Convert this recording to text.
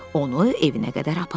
Onu evinə qədər apardı.